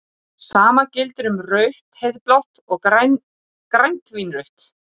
Sama gildir um rautt-heiðblátt og grænt-vínrautt.